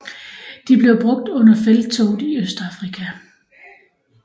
De blev brugt under Felttoget i Østafrika